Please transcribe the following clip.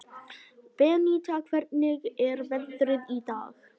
Beníta, hvernig er veðrið í dag?